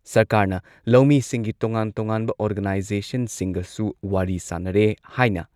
ꯁꯔꯀꯥꯔꯅ ꯂꯧꯃꯤꯁꯤꯡꯒꯤ ꯇꯣꯉꯥꯟ ꯇꯣꯉꯥꯟꯕ ꯑꯣꯔꯒꯅꯥꯏꯖꯦꯁꯟꯁꯤꯡꯒꯁꯨ ꯋꯥꯔꯤ ꯁꯥꯟꯅꯔꯦ ꯍꯥꯏꯅ